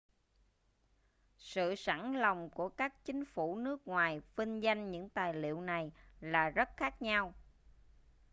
sự sẵn lòng của các chính phủ nước ngoài vinh danh những tài liệu này là rất khác nhau